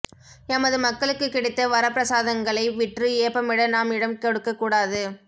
எமது மக்களுக்கு கிடைத்த் வரப்பிரசதங்களை விற்று ஏப்பமிட நாம் இடம் கொட்க்கக் கூடாது